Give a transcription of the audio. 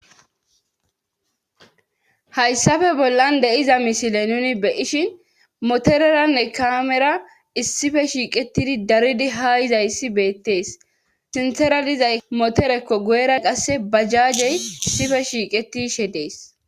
hayssafe bollan deiza misile nuni beyishin motoreranne kaamera issife shiiqetidi daridi haa izayssi beettees sinthera dizay motorekko guyera qasse bajjaagey issife shiiqetishe dees